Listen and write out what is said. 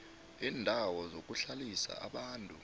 iindawo zokuhlalisa abantu